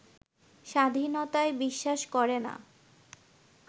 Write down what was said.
স্বাধীনতায় বিশ্বাস করেনা